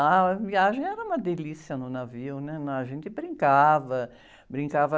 A viagem era uma delícia no navio, né? Não, a gente brincava, brincava...